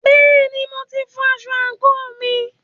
Bẹ́ẹ̀ni, mo ti fọ aṣọ àǹkóò mi.